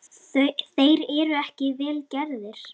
Þeir eru ekki vel gerðir.